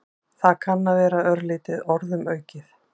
Það kann að vera örlítið orðum aukið.